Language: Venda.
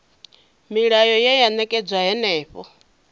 milayo ye ya ṅetshedzwa henefho